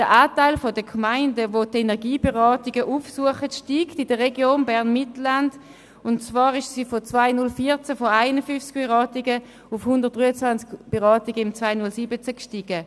Der Anteil der Gemeinden, die die Energieberatungen aufsuchen, steigt in der Region BernMittelland, und zwar sind sie seit 2014 von 51 auf 123 Beratungen im 2017 gestiegen.